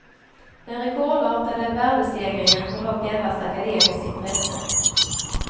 Den rekordartade värdestegringen har dock endast akademiskt intresse.